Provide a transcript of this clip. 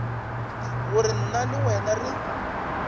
gore nna le wena re